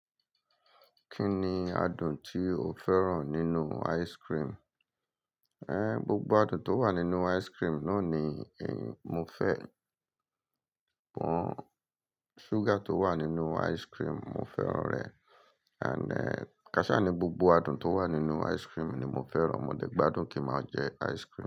Kí ni adùn tí o fẹ́ràn nínú ice cream? Gbogbo adùn tó wà nínú ice cream náà ni mo fẹ́. Pọn, ṣúgà tó wà nínú ice cream mo fẹ́ràn rẹ̀, and kasi àní gbogbo adùn tó wà nínú ice cream ni mo fẹ́ràn. Mo dè gbádùn kí ma jẹ ice cream.